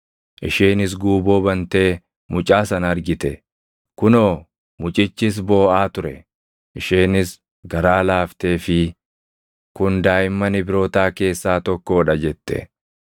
Isheenis guuboo bantee mucaa sana argite; kunoo mucichis booʼaa ture. Isheenis garaa laafteefii, “Kun daaʼimman Ibrootaa keessaa tokkoo dha” jette.